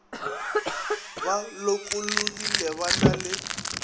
ba lokologile ba na le